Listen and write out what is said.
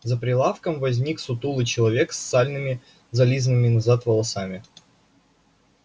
за прилавком возник сутулый человечек с сальными зализанными назад волосами